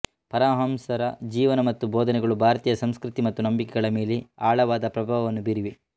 ಪರಮಹಂಸರ ಜೀವನ ಮತ್ತು ಬೋಧನೆಗಳು ಭಾರತೀಯ ಸಂಸ್ಕೃತಿ ಮತ್ತು ನಂಬಿಕೆಗಳ ಮೇಲೆ ಆಳವಾದ ಪ್ರಭಾವವನ್ನು ಬೀರಿವೆ